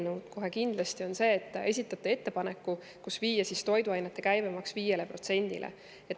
on see, et te esitate ettepaneku viia toiduainete käibemaks 5%-le.